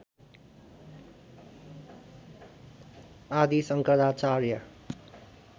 आदि शङ्कराचार्य